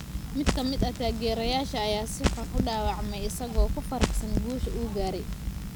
Mid ka mid ah taageerayaasha ayaa si xun u dhaawacmay isagoo ku faraxsan guusha uu gaaray.